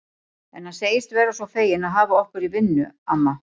En hann segist vera svo feginn að hafa okkur í vinnu, amma